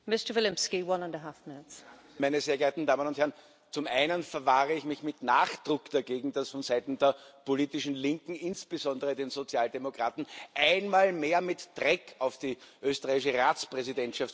Frau Präsidentin, meine sehr geehrten Damen und Herren! Zum Einen verwahre ich mich mit Nachdruck dagegen, dass von Seiten der politischen Linken, insbesondere der Sozialdemokraten, einmal mehr mit Dreck auf die österreichische Ratspräsidentschaft geworfen wird.